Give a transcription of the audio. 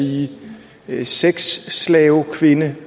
sige sexslavekvinde